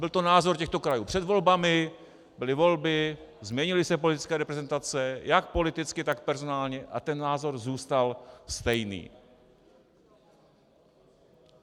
Byl to názor těchto krajů před volbami, byly volby, změnily se politické reprezentace jak politicky, tak personálně, a ten názor zůstal stejný.